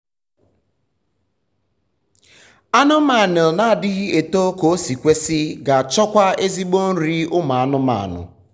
anụmanụ na adighi eto kosi kwesị ga achọkwa ezigbo nri ụmụ anụmanụ